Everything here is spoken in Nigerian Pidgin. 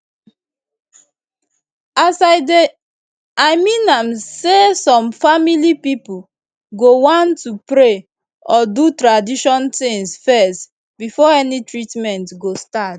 i mean am say some family pipo go wan to pray or do tradition tings fezz before any treatment go start